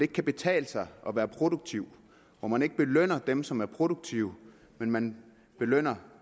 kan betale sig at være produktiv hvor man ikke belønner dem som er produktive men belønner